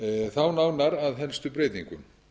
þá nánar að helstu breytingum